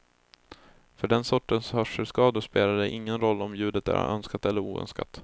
För den sortens hörselskador spelar det ingen roll om ljudet är önskat eller oönskat.